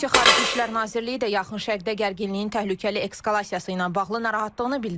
Rusiya Xarici İşlər Nazirliyi də Yaxın Şərqdə gərginliyin təhlükəli eskalasiyası ilə bağlı narahatlığını bildirib.